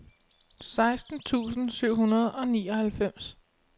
seksten tusind syv hundrede og nioghalvfems